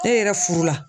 E yɛrɛ furu la